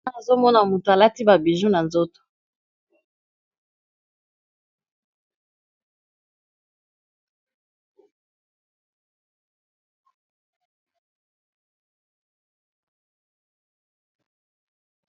Awa azomona moto alati babiju na nzoto